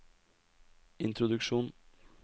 introduksjon